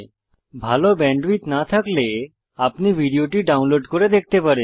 ভাল ব্যান্ডউইডথ না থাকলে আপনি ভিডিওটি ডাউনলোড করে দেখতে পারেন